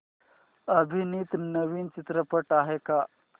अभिनीत नवीन चित्रपट आहे का